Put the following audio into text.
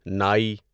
ناٮٔی